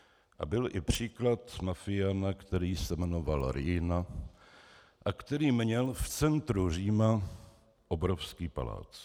A byl i příklad mafiána, který se jmenoval Riina a který měl v centru Říma obrovský palác.